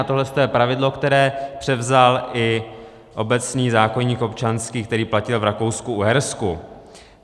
A tohleto je pravidlo, které převzal i obecný zákoník občanský, který platil v Rakousku-Uhersku.